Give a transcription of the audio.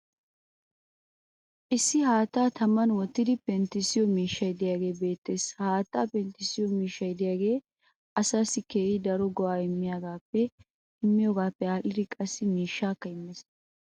Issi haattaa taman wottidi penttisiyo miishsay diyaagee beetees. Ha haattaa pentissiyo miishshay diyaagee asaassi keehi daro go'aa immiyoogaappe aadhdhidi qassi mishshaakka immees.